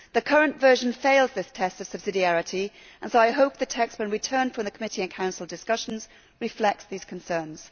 The current version fails this test of subsidiarity and so I hope the text, when returned from committee and Council discussions, reflects these concerns.